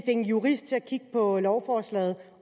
en jurist til at kigge på lovforslaget